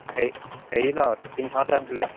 হেৰি ন টিংখাঙতে আছিলে